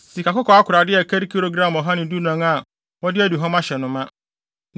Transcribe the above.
sikakɔkɔɔ akorade a ɛkari gram ɔha ne dunan (114) a wɔde aduhuam ahyɛ no ma;